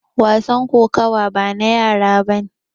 Wasan kokawa bana yara bane.